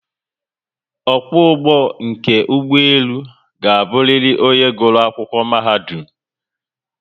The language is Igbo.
Okwo ugbo nke ugboelu ga-abụriri onye gụrụ Akwụkwọ mahadum